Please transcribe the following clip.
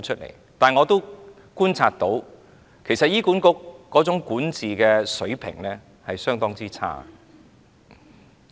然而，我觀察到，醫管局的管治水平相當差。